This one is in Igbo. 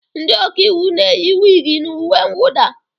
Ndị ọka iwu na-eyi wig na uwe mwụda